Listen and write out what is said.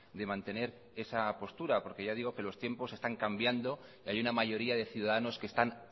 de mantener esa postura porque ya digo que los tiempos están cambiando y hay una mayoría de ciudadanos que están